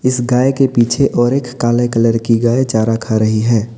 इस गाय के पीछे और एक काले कलर की गाय चारा खा रही है।